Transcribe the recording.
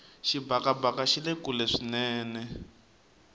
xibakabaka xile kule swinene